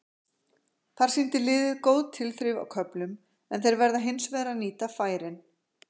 Þar sýndi liðið góð tilþrif á köflum en þeir verða hins vegar að nýta færin.